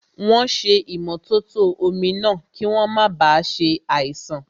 Wọ́n ṣé ìmótótó omi náà, kí wọ́n máa ba ṣe àìsàn